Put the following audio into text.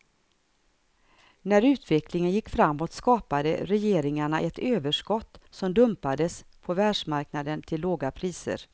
När utvecklingen gick framåt skapade regleringarna ett överskott, som dumpades på världsmarknaden till låga priser.